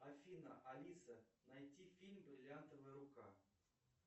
афина алиса найти фильм бриллиантовая рука